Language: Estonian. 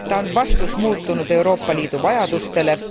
Ta on vastus muutunud Euroopa Liidu vajadustele.